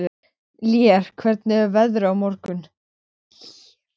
Lér, hvernig verður veðrið á morgun?